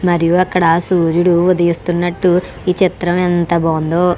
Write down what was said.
మరియు అక్కడ సూర్యుడు ఉదయేస్తూ నటు ఈ చిత్రం ఎంత బాగుండో.